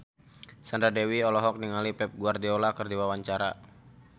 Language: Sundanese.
Sandra Dewi olohok ningali Pep Guardiola keur diwawancara